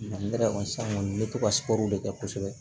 ne yɛrɛ kɔni sisan kɔni n bɛ to ka de kɛ kosɛbɛ